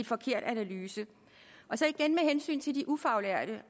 forkert analyse så igen med hensyn til de ufaglærte